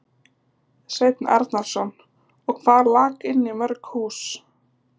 Sveinn Arnarson: Og hvað lak inn í mörg hús?